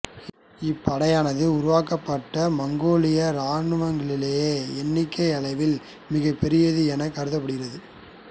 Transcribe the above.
இப்படையானது உருவாக்கப்பட்ட மங்கோலிய இராணுவங்களிலேயே எண்ணிக்கை அளவில் மிகப் பெரியது எனக் கருதப்படுகிறது